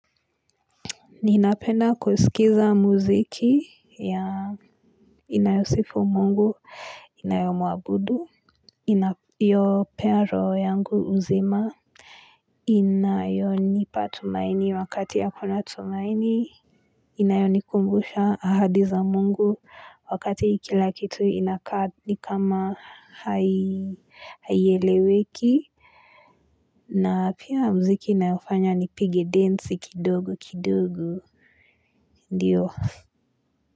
Ninapenda kusikiliza muziki ya inayosifu Mungu, inayomuabudu, inayopea roho yangu uzima, inayoni patumaini wakati ya hakuna tumaini, inayoni kumbusha ahadiza mungu, wakati kila kitu inakaa ni kama haieleweki, na pia muziki inayofanya ni pige dance kidogo kidogo, ndiyo.